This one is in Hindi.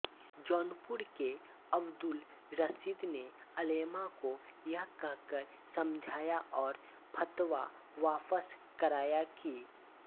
जौनपुर के अब्दुल रशीद ने उलेमा को यह कहकर समझाया और फतवा वापस कराया कि